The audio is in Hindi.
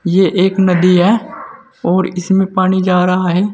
ये एक नदी है और इसमें पानी जा रहा है।